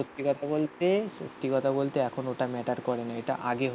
সত্যি কথা বলতে সত্যি কথা বলতে এখন ওটা ম্যাটার করেনা. এটা আগে হতো.